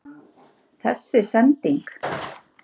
Þessi sending??.